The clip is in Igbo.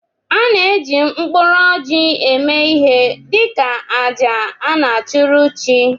A na eji mkpụrụ orji eme ihe dị ka àjà a na achụrụ chi.